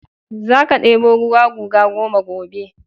Za ka ɗebo ruwa guga goma gobe!